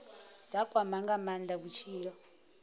dza kwama nga maanda vhutshilo